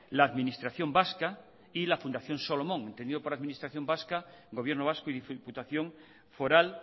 la administración vasca y la fundación solomon entendido por administración vasca gobierno vasco y diputación foral